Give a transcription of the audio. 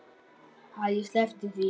Æ, sleppum því.